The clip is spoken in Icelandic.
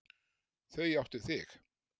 Þau áttu þig.